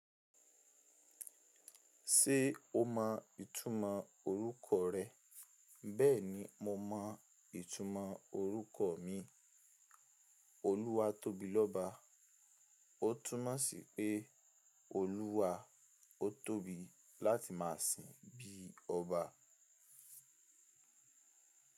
Ṣé o mọ ìtúmọ̀ orúkọ rẹ? Bẹ́ẹ̀ni mo mọ ìtúmọ̀ orúkọ mi. Oluwatobiloba. Ó túmọ̀ sí pé Olúwa ó tóbi láti máa sìn bí i ọba.